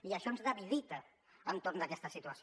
i això ens debilita entorn d’aquesta situació